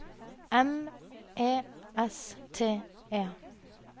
M E S T E